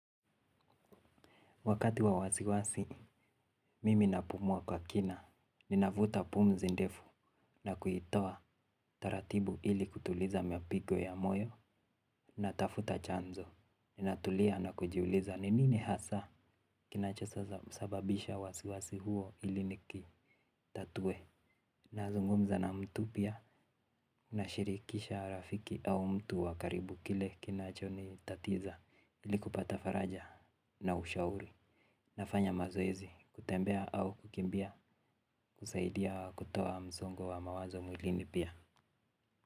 Wakati wa wasiwasi, mimi napumua kwa kina, ninavuta pumzi ndefu na kuitoa taratibu ili kutuliza mapigo ya moyo natafuta chanzo. Ninatulia na kujiuliza ni nini hasa kinachosababisha wasiwasi huo hili nikitatue. Nazungumza na mtu pia, nashirikisha rafiki au mtu wa karibu kile kinachonitatiza ni kupata faraja na ushauri. Nafanya mazoezi, kutembea au kukimbia, husaidia wa kutoa msongo wa mawazo mwilini pia.